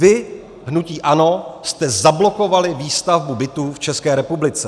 Vy, hnutí ANO, jste zablokovali výstavbu bytů v České republice.